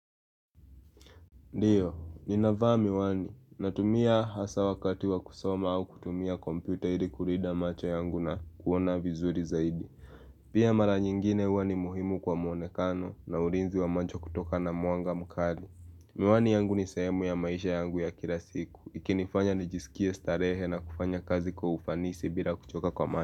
Ndiyo, ninavaa miwani natumia haswa wakati wa kusoma au kutumia komputa ili kulinda macho yangu na kuona vizuri zaidi. Pia mara nyingine huwa ni muhimu kwa muonekano na ulinzi wa macho kutoka na mwanga mukali. Miwani yangu ni sehemu ya maisha yangu ya kila siku. Ikinifanya nijisikia starehe na kufanya kazi kwa ufanisi bila kuchoka kwa.